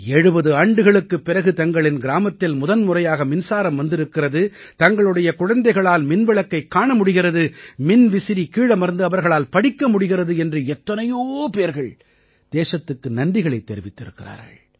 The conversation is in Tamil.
70 ஆண்டுகளுக்குப் பிறகு தங்களின் கிராமத்தில் முதன்முறையாக மின்சாரம் வந்திருக்கிறது தங்களுடைய குழந்தைகளால் மின்விளக்கைக் காண முடிகிறது மின்விசிறி கீழமர்ந்து அவர்களால் படிக்க முடிகிறது என்று எத்தனையோ பேர்கள் தேசத்துக்கு நன்றிகளைத் தெரிவிக்கிறார்கள்